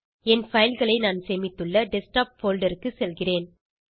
என் file களை நான் சேமித்துள்ள டெஸ்க்டாப் போல்டர் க்கு செல்கிறேன்